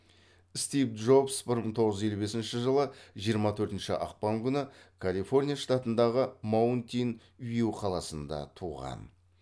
стив джобс бір мың тоғыз жүз елу бесінші жылы жиырма төртінші ақпан күні калифорния штатындағы маунтин вью қаласында туған